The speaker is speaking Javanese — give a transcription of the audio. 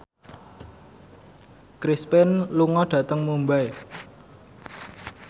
Chris Pane lunga dhateng Mumbai